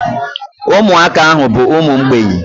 Umuaka ahu bu umu mgbei